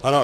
Ano.